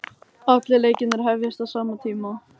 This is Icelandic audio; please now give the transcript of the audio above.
Allir leikirnir hefjast á sama tíma